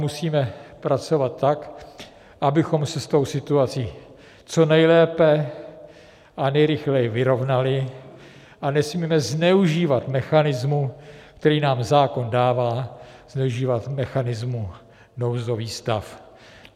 Musíme pracovat tak, abychom se s tou situací co nejlépe a nejrychleji vyrovnali a nesmíme zneužívat mechanismu, který nám zákon dává, využívat mechanismu nouzový stav.